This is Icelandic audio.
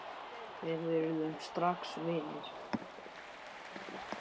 Við urðum strax vinir.